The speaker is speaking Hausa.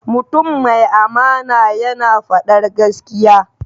Mutum mai amana yana faɗar gaskiya.